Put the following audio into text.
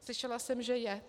Slyšela jsem, že je.